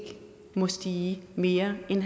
må stige mere end en